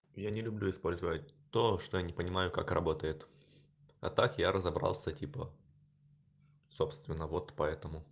я не люблю использовать то что не понимаю как работает а так я разобрался типа собственно вот по этому